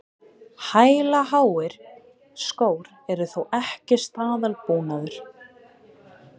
Hælaháir skór eru þó ekki staðalbúnaður